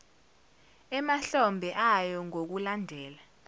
emahlombe ayo ngokulandela